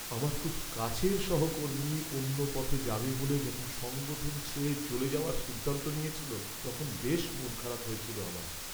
আমার খুব কাছের সহকর্মী অন্য পথে যাবে বলে যখন সংগঠন ছেড়ে চলে যাওয়ার সিদ্ধান্ত নিয়েছিল, তখন বেশ মন খারাপ হয়েছিল আমার।